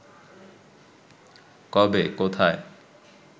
কবে, কোথায়